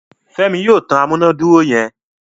Femi yóò tán amunaduro yen.